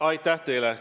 Aitäh teile!